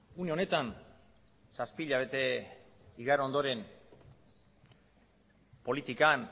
une honetan zazpi hilabete igaro ondoren politikan